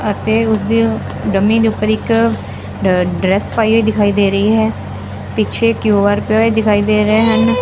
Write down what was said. ਅਤੇ ਉਸਦੇ ਡਮੀ ਦੇ ਉੱਪਰ ਇੱਕ ਡ ਡਰੈਸ ਪਾਈ ਹੋਈ ਦਿਖਾਈ ਦੇ ਰਹੀ ਹੈ ਪਿੱਛੇ ਕਯੂ_ਆਰ ਕੋਡ ਪਿਆ ਹੋਇਆ ਦਿਖਾਈ ਦੇ ਰਹੇ ਹਨ।